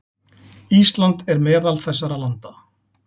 Ísland er meðal þessara landa.